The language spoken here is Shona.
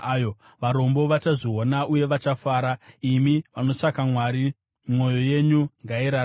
Varombo vachazviona uye vachafara, imi vanotsvaka Mwari, mwoyo yenyu ngairarame!